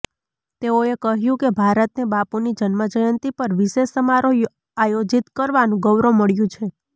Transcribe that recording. તેઓએ કહ્યું કે ભારતને બાપૂની જન્મજયંતિ પર વિશેષ સમારોહ આયોજિત કરવાનું ગૌરવ મળ્યું છે